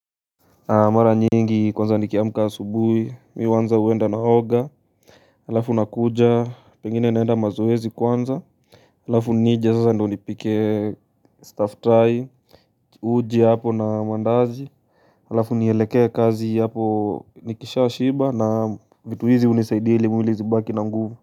Mara nyingi kwanza nikiamka asubuhi mi huanza huenda naoga Halafu nakuja pengine naenda mazoezi kwanza Halafu nije sasa ndo nipike staftahi, uji hapo na mandazi Halafu nielekee kazi hapo nikishaa shiba na vitu hizi hunisaidia ili mwili zibaki na nguvu.